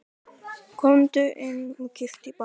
Komdu inn og kíktu í bæinn!